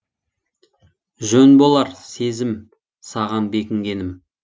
жөн болар сезім саған бекінгенім